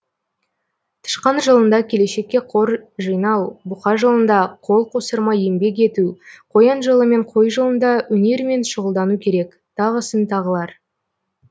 тышқан жылында келешекке қор жинау бұқа жылында қол қусырмай еңбек ету қоян жылы мен қой жылында өнермен шұғылдану керек тағысын тағылар